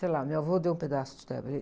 Sei lá, meu avô deu um pedaço de terra para ele.